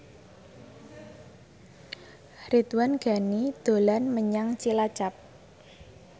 Ridwan Ghani dolan menyang Cilacap